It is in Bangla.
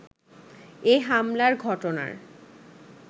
এ হামলার ঘটনার